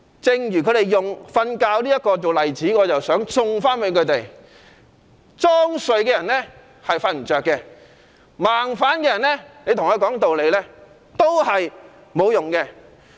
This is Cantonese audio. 正如他們以睡覺作為例子，我也想送他們一句：裝睡的人叫不醒，跟盲反的人講道理沒有用。